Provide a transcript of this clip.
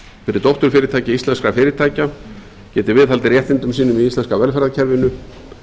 fyrir dótturfyrirtæki íslenskra fyrirtækja geti viðhaldið réttindum sínum í íslenska velferðarkerfinu